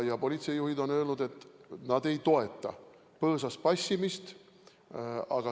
Politseijuhid on öelnud, et nad ei toeta põõsas passimist.